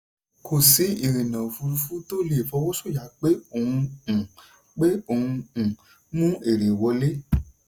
kò sí ìrìnà òfurufú tí ó lè fọwọ́sọ̀yà pé òun um pé òun um mú èrè wọlé.